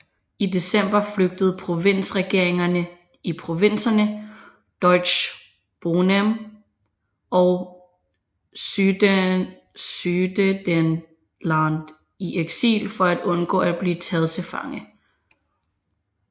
I december flygtede provinsregeringerne i provinserne Deutschböhmen og Sudetenland i eksil for at undgå at blive taget til fange